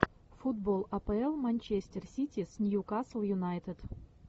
футбол апл манчестер сити с нью касл юнайтед